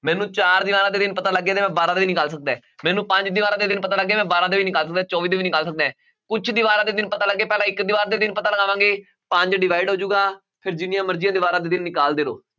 ਮੈਨੂੰ ਚਾਰ ਦੀਵਾਰਾਂ ਦੇ ਦਿਨ ਪਤਾ ਲੱਗ ਗਏ ਨੇ, ਮੈਂ ਬਾਰਾਂ ਦੇ ਵੀ ਨਿਕਾਲ ਸਕਦਾ ਹੈ, ਮੈਨੂੰ ਪੰਜ ਦੀਵਾਰਾਂ ਦੇ ਦਿਨ ਪਤਾ ਲੱਗ ਗਏ, ਮੈਂ ਬਾਰਾਂ ਦੇ ਨਿਕਾਲ ਸਕਦਾ ਹੈ ਚੌਵੀ ਦੇ ਵੀ ਨਿਕਾਲ ਸਕਦਾ ਹੈ ਕੁਛ ਦੀਵਾਰਾਂ ਦੇ ਦਿਨ ਪਤਾ ਲੱਗ ਗਏ ਪਹਿਲਾਂ ਇੱਕ ਦੀਵਾਰ ਦੇ ਦਿਨ ਪਤਾ ਲਗਾਵਾਂਗੇ, ਪੰਜ divide ਹੋ ਜਾਏਗਾ ਫਿਰ ਜਿੰਨੀਆਂ ਮਰਜ਼ੀਆਂ ਦੀਵਾਰਾਂ ਦੇ ਦਿਨ ਨਿਕਾਲਦੇ ਰਹੋ।